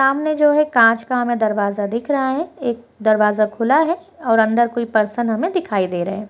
सामने जो है एक कांच का हमें दरवाज़ा दिख रहा है एक दरवाज़ा खुला है और अंदर कोई पर्सन हमे दिखाई दे रहे हैं।